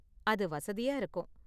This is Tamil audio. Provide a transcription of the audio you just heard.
அது வசதியா இருக்கும்.